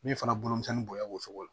Min fana bolo misɛn bo ye o cogo la